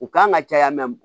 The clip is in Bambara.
U kan ka caya